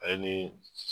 Ale ni